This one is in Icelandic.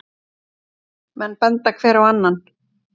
Menn benda hver á annan.